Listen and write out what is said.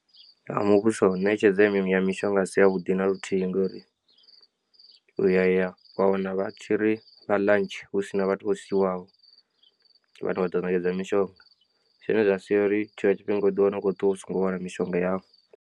Ha muvhuso ṋetshedzo ya mishonga a si ya vhuḓi naluthihi ngori uya ya wa wana vha tshiri vha ḽantshi husina vhathu vho siwaho vhane vha ḓo ṋetshedza mishonga zwine zwa sia uri tshiṅwe tshifhinga u ḓi wana u khou ṱuwa u songo wana mishonga yau.